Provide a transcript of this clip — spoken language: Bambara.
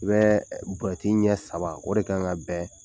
U bɛ buruyɛti ɲɛ saba o de kan ka bɛn